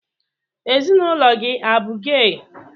Ezinaụlọ gị abụ gey?